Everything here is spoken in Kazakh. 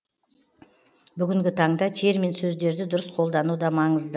бүгінгі таңда термин сөздерді дұрыс қолдану да маңызды